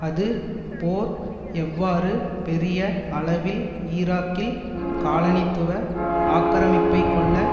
அது போர் எவ்வாறு பெரிய அளவில் ஈராக்கில் காலனித்துவ ஆக்கிரமிப்பைக்கொள்ள